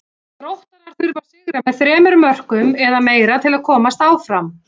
Þróttarar þurfa að sigra með þremur mörkum eða meira til að komast áfram.